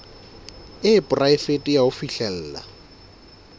e poraefete ya ho fihlella